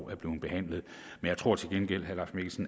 er blevet behandlet men jeg tror til gengæld